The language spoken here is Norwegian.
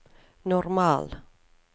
normal